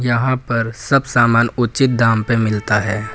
यहां पर सब सामान उचित दाम पर मिलता है।